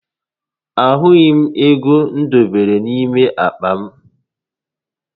Ahụghi m égo m dobere n'ime àkpà